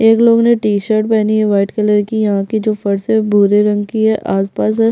एक लोग ने टी शर्ट पहनी वाइट कलर की यहाँ की जो फर्श है वो भूरे रंग की है आसपास जो--